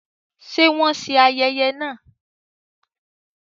Ṣe wọn ṣe ayẹyẹ náà?